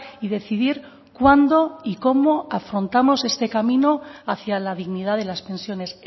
y decidir cuándo y cómo afrontamos este camino hacia la dignidad de las pensiones